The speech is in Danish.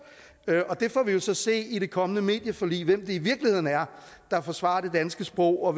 og der får vi jo så at se i det kommende medieforlig hvem det i virkeligheden er der forsvarer det danske sprog og